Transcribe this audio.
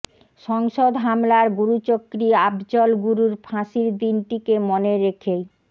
সংসদ হামলার গুরুচক্রী আফজল গুরুর ফাঁসির দিনটিকে মনে রেখেই